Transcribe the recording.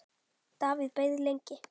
Davíð beið lengi.